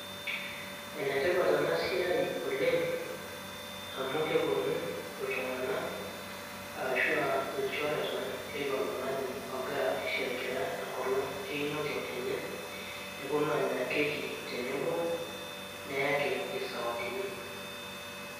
ene tipat ena siai oleng. amu kepuonu iltunganak,.arashu aa ilchoreta leilo tungani ogira aisherekea enkolong' einoto enye, nepuonu aanya keki tenebo. neyaki isawadini.